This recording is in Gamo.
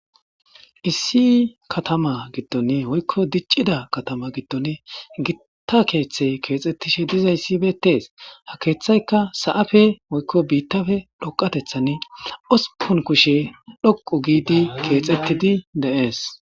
Issi katama gittoni hoykko diccida katama gitton gitta keeththe keexxettishe dizayssi beettees ha keeththayka sa7afe hoykko biittafe dhoqatethan ospun kushe dhoqu giidi keexettidi de7ees.